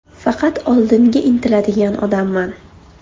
Faqat oldinga intiladigan odamman.